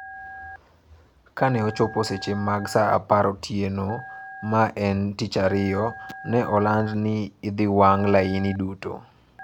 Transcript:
Kane ochopo seche mag saa apar otieno ma ne en Tich Ariyo, ne oland ni ne idhi wang ' layini duto.